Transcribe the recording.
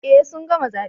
Eh sun gama zabe